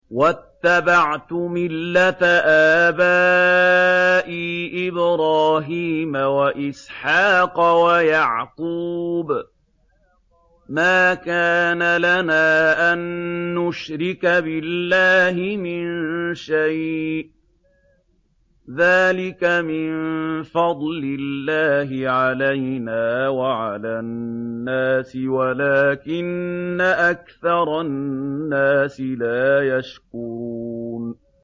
وَاتَّبَعْتُ مِلَّةَ آبَائِي إِبْرَاهِيمَ وَإِسْحَاقَ وَيَعْقُوبَ ۚ مَا كَانَ لَنَا أَن نُّشْرِكَ بِاللَّهِ مِن شَيْءٍ ۚ ذَٰلِكَ مِن فَضْلِ اللَّهِ عَلَيْنَا وَعَلَى النَّاسِ وَلَٰكِنَّ أَكْثَرَ النَّاسِ لَا يَشْكُرُونَ